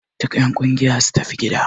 Duka en ƙungiya su tafi gida!